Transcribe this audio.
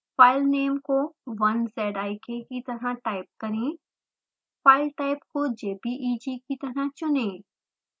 file name को 1zik की तरह टाइप करें file type को jpeg की तरह चुनें